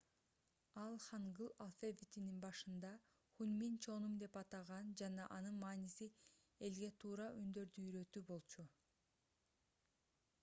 ал хангыль алфавитин башында хунмин чоным деп атаган жана анын мааниси элге туура үндөрдү уйрөтүү болчу